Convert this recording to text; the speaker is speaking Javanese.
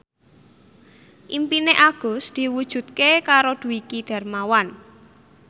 impine Agus diwujudke karo Dwiki Darmawan